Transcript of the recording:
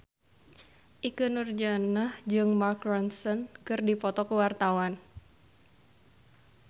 Ikke Nurjanah jeung Mark Ronson keur dipoto ku wartawan